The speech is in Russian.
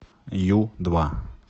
ю два